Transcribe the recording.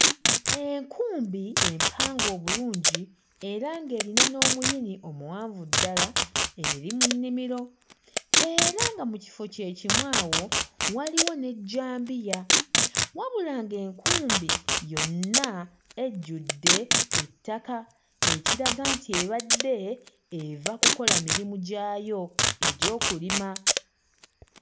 Enkumbi empange obulungi era ng'erina n'omuyini omuwanvu ddala eri mu nnimiro era nga mu kifo kye kimu awo waliwo n'ejjambiya wabula ng'enkumbi yonna ejjudde ettaka ekiraga nti ebadde eva kukola mirimu gyayo egy'okulima.